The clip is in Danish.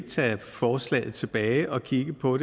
tage forslaget tilbage og kigge på